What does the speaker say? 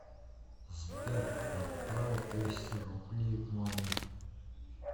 сбер отправь двести рублей маме